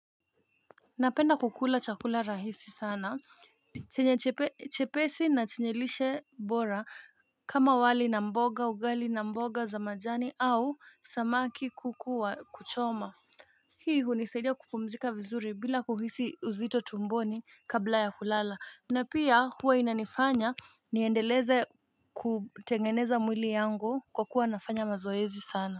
Napenda kukula chakula rahisi sana, chenye chepesi na chenye lishe bora kama wali na mboga, ugali na mboga za majani au samaki kukuwa kuchoma Hii hunisadia kupumzika vizuri bila kuhisi uzito tumboni kabla ya kulala na pia huwa inanifanya niendeleze kutengeneza mwili yangu kwa kuwa nafanya mazoezi sana.